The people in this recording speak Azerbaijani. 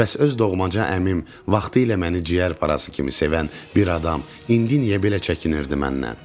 Bəs öz doğmaca əmim, vaxtilə məni ciyərparası kimi sevən bir adam, indi niyə belə çəkinirdi məndən?